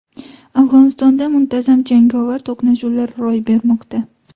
Afg‘onistonda muntazam jangovar to‘qnashuvlar ro‘y bermoqda.